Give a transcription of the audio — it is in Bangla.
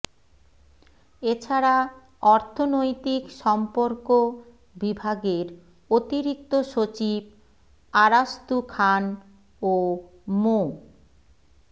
এছাড়া অর্থনৈতিক সর্ম্পক বিভাগের অতিরিক্ত সচিব আরাস্তু খান ও মো